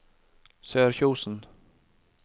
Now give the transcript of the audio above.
Sørkjosen